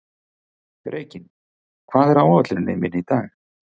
Reginn, hvað er á áætluninni minni í dag?